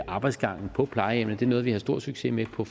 arbejdsgangene på plejehjemmet det er noget vi har stor succes med på